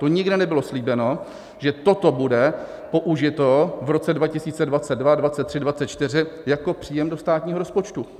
To nikde nebylo slíbeno, že toto bude použito v roce 2022, 2023, 2024 jako příjem do státního rozpočtu.